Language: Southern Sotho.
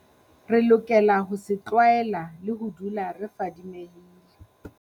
Re lokela ho se tlwaela le ho dula re fadimehile.